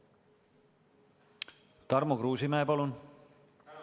Tarmo Kruusimäe, palun!